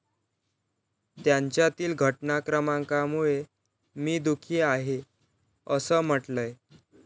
त्यांच्यातील घटनाक्रमामुळे मी दुःखी आहे' असं म्हटलंय.